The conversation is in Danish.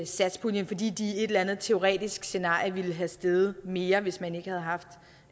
satspuljen fordi de i et eller andet teoretisk scenarie ville være steget mere hvis man ikke havde haft